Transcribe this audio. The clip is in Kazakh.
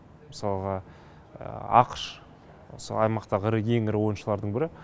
мысалға ақш осы аймақтағы ең ірі ойыншылардың бірі